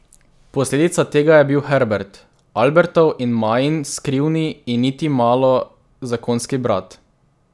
Posledica tega je bil Herbert, Albertov in Majin skrivni in niti malo zakonski brat.